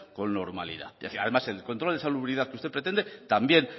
con normalidad es decir el control de salubridad que usted pretende también